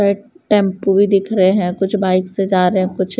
ए tempo भी दिख रहे हैं कुछ बाइक से जा रहे हैं कुछ --